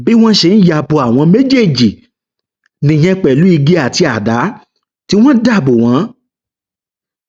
bí wọn ṣe ń ya bo àwọn méjèèjì nìyẹn pẹlú igi àti àdá tí wọn dà bò wọn